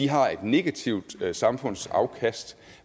har et negativt samfundsafkast